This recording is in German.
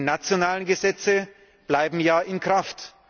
Die nationalen Gesetze bleiben ja in Kraft.